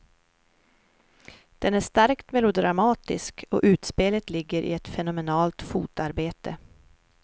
Den är starkt melodramatisk och utspelet ligger i ett fenomenalt fotarbete.